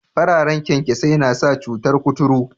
Fararen kyankyasai na sa cutar kuturu